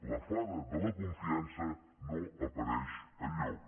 la fada de la confiança no apareix enlloc